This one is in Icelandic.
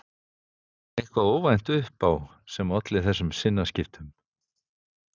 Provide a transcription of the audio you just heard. Þóra: Kom eitthvað óvænt upp á sem olli þessum sinnaskiptum?